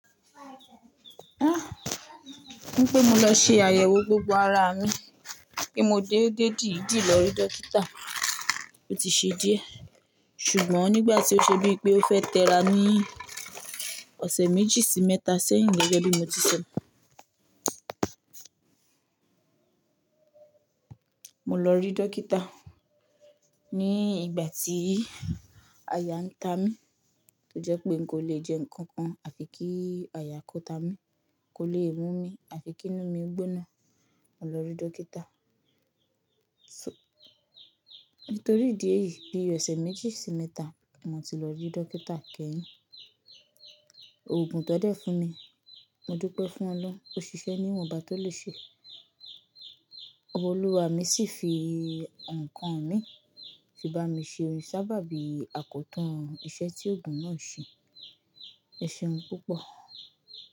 Ah! Wípé mo lọ ṣe àyẹ̀wò gbogbo ara mi pé mo dédé dìdí lọ rí dókítà ó ti ṣe díẹ̀. Ṣùgbọ́n nígbà tí ó ṣe bíi pé ó fẹ́ tẹ́ra ní ọ̀sẹ̀ méjì sí mẹ́ta sẹ́yìn lọ́jọ́ bí mo ti sọhùn. Mo lọ rí dókítà ní ìgbà tí aya ń ta mí, tó jẹ́ pé n kò lè jẹ nǹkan kan àfi kí àyà kò ta mí, kò lè mú mi, àfi kí inú mi gbóná, mo lọ rí dókítà. So-- nítorí ìdí èyí bí i ọ̀sẹ̀ méjì sí mẹ́ta, ni mo ti lọ rí dókítà kẹ́yìn. Oògùn tan dẹ́ fún mi, mo dúpẹ́ fún Ọlọ́run, ó ṣiṣẹ́ ní ìwọ̀nba tó le ṣe. Ọlúwa mi sì fi nǹkan mi fi bá mi ṣe sábàbí àkótún iṣẹ́ tí oògùn náà ṣe. Ẹ̀ṣehun púpọ̀.